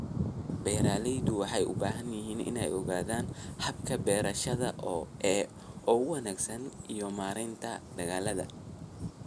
Beeraleydu waxay u baahan yihiin inay ogaadaan hababka beerashada ee ugu wanaagsan iyo maaraynta dalagga.